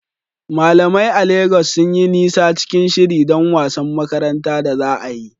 Malamai a Legas sun yi nisa cikin shiri don wasan makaranta da za a yi.